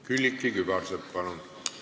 Külliki Kübarsepp, palun!